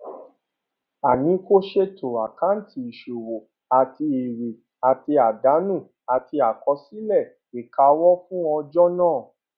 a ní ko ṣètò àkáǹtì ìṣòwò àti èrè àti àdánù àti àkọsílẹ ìkáwó fún ọjọ náà